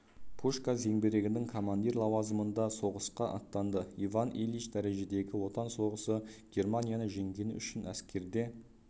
пушка зеңбірегінің командир лауазымында соғысқа аттанды иван ильич дәрежедегі отан соғысы германияны жеңгені үшін әскерде